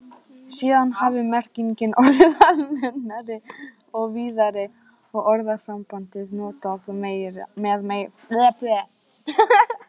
Síðan hafi merkingin orðið almennari og víðari og orðasambandið notað með fleiri sögnum.